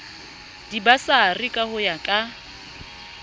dibasari ka ho ya ka